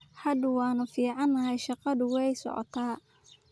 Hadda waanu fiicanahay, shaqadu wey socota .